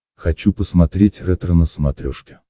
хочу посмотреть ретро на смотрешке